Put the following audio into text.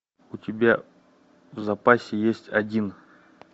у тебя в запасе есть один